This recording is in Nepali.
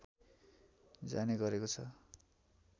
जाने गरेको छ